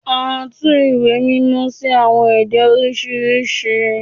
À tù ìwé mímọ si awọn ede oriṣiriṣi